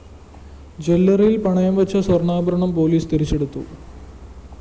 ജ്വല്ലറിയില്‍ പണയം വെച്ച സ്വര്‍ണ്ണാഭരണം പോലീസ് തിരിച്ചെടുത്തു